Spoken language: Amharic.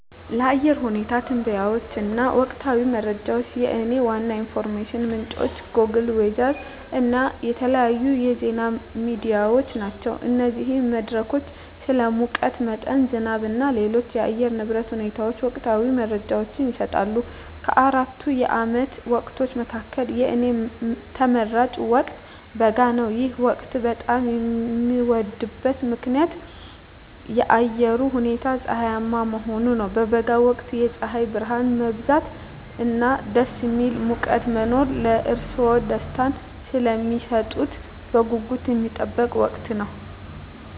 ለአየር ሁኔታ ትንበያዎች እና ወቅታዊ መረጃዎች፣ የእኔ ዋና የኢንፎርሜሽን ምንጮች ጎግል ዌዘር እና የተለያዩ የዜና ሚዲያዎች ናቸው። እነዚህ መድረኮች ስለ ሙቀት መጠን፣ ዝናብ እና ሌሎች የአየር ንብረት ሁኔታዎች ወቅታዊ መረጃዎችን ይሰጣሉ። ከአራቱ የዓመት ወቅቶች መካከል፣ የእኔ ተመራጭ ወቅት በጋ ነው። ይህ ወቅት በጣም የሚወደድበት ዋና ምክንያት የአየሩ ሁኔታ ፀሐያማ መሆኑ ነው። በበጋ ወቅት የፀሐይ ብርሃን መብዛት እና ደስ የሚል ሙቀት መኖር ለእርስዎ ደስታን ስለሚሰጡት በጉጉት የሚጠበቅ ወቅት ነው።